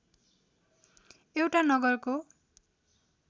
एउटा नगरको